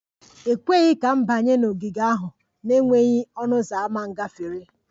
E kweghị ka m banye n'ogige ahụ n'enweghị ọnụ ụzọ ámá gafere